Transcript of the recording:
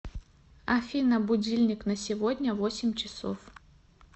афина будильник на сегодня восемь часов